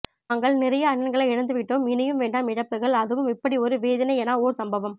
நாங்கள் நிறைய அண்ணன்களை இழந்து விட்டோம் இனியும் வேன்ன்டம் இழப்புக்கள் அதுவும் இப்படி ஓர் வேதனையனா ஓர் சம்பவம்